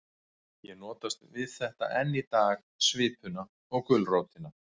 Ég notast við þetta enn í dag, svipuna og gulrótina.